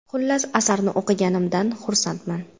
Xullas, asarni o‘qiganimdan xursandman.